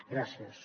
gràcies